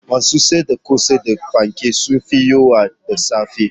Masu siyar da kosai da fanke sun fi yawa da safe